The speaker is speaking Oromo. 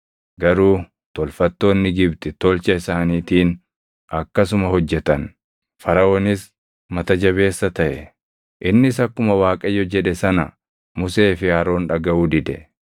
Garuu tolfattoonni Gibxi tolcha isaaniitiin akkasuma hojjetan; Faraʼoonis mata jabeessa taʼe. Innis akkuma Waaqayyo jedhe sana Musee fi Aroon dhagaʼuu dide.